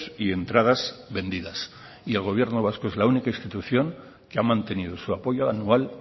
y entradas vendidas y el gobierno vasco es la única institución que ha mantenido su apoyo anual